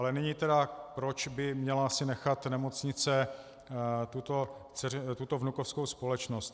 Ale nyní tedy, proč by si měla nechat nemocnice tuto vnukovskou společnost.